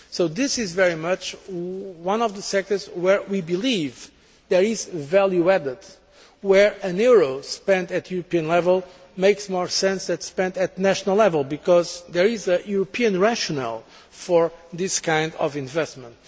This is very much one of the sectors where we believe there is value added, where a euro spent at European level makes more sense than one spent at national level, because there is a European rationale for this kind of investment.